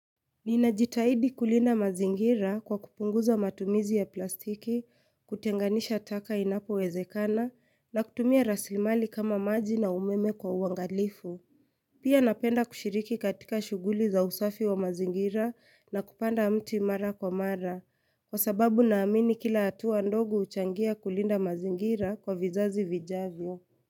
Ninajitahidi kulinda mazingira kwa kupunguza matumizi ya plastiki, kutenganisha taka inapo wezekana, na kutumia rasilimali kama maji na umeme kwa uangalifu. Pia napenda kushiriki katika shuguli za usafi wa mazingira na kupanda mti mara kwa mara, kwa sababu naamini kila atuwa ndogo huchangia kulinda mazingira kwa vizazi vijavyo.